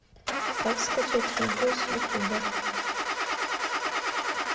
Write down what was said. как скачать видео с ютуба